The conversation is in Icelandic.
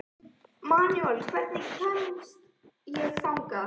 Manuel, hvernig kemst ég þangað?